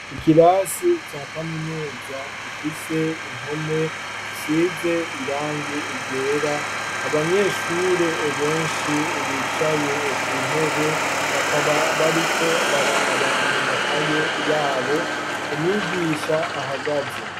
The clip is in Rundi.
Ikirasi ca Kaminuza gifise impome zisize irangi ryera. Abanyeshure benshi bicaye ku ntebe bakaba bariko baraba mu makaye yabo. Umwigisha ahagaze.